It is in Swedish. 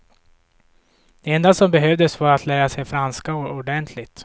Det enda som behövdes var att lära sig franska ordentligt.